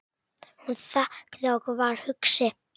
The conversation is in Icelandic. Hún þagði og var hugsi.